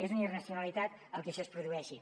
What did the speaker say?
és una irracionalitat el que això es produeixi